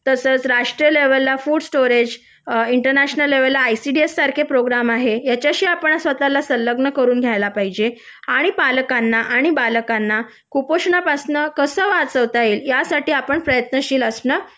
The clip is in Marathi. तसंच राष्ट्रीय लेव्हलला food storage international level ICDS सारखे प्रोग्रॅम आहे याच्याशी आपण स्वतःला संलग्न करून घ्यायला पाहिजे आणि पालकांना आणि बालकांना कुपोषणापासूनच वाचवता येईल यासाठी आपण प्रयत्नशील असणं